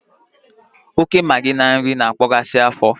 oke magi na nri, na-akpaghasị afọ